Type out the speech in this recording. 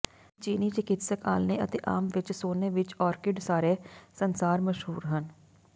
ਇਕ ਚੀਨੀ ਚਿਕਿਤਸਕ ਆਲ੍ਹਣੇ ਅਤੇ ਆਮ ਵਿੱਚ ਸੋਨੇ ਵਿੱਚ ਓਰਕਿਡ ਸਾਰੇ ਸੰਸਾਰ ਮਸ਼ਹੂਰ ਹਨ